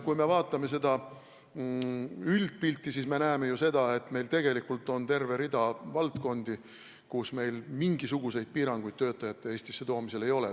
Kui me vaatame üldpilti, siis me näeme ju, et meil tegelikult on terve rida valdkondi, kus meil mingisuguseid piiranguid töötajate Eestisse toomisel ei ole.